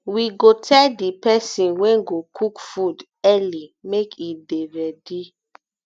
we go tell di pesin wey go cook food early make e dey dey ready